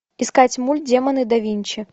искать мульт демоны да винчи